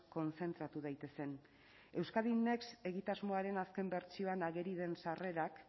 kontzentratu daitezen euskadi next egitasmoaren azken bertsioan ageri den sarrerak